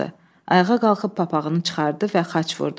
Ayağa qalxıb papağını çıxartdı və xaç vurdu.